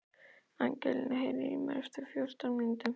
Angelína, heyrðu í mér eftir fjörutíu mínútur.